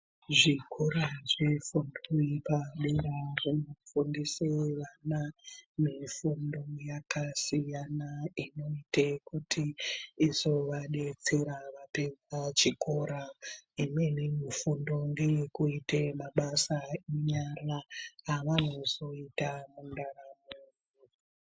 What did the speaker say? Zvikora zvinofanirwa kunga zveifundise vana mifundo yakasiyana inoite kuti izovadetsera vapedza chikoro imweni mifundo ngeyekuita mabasa enyara avanozoita mundaramo.